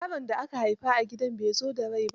Yaron da aka haifa a gida bai zo da rai ba.